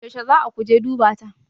Yauce zaa kuje duba ta?